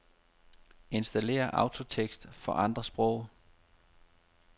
Installér autotekst for andre sprog.